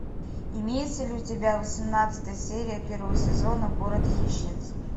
имеется ли у тебя восемнадцатая серия первого сезона город хищниц